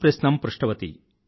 ప్రశ్నం పృష్టవతి